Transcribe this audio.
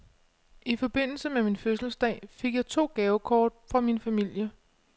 I forbindelse med min fødselsdag fik jeg to gavekort fra min familie.